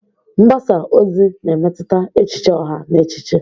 Mgbasa ozi na-emetụta echiche ọha na echiche.